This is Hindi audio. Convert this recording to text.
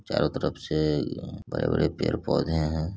चारो तरफ से बड़े-बड़े पेड़-पौधे हैं।